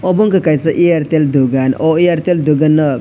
obo wngka kaisa airtel dogan o airtel dogano.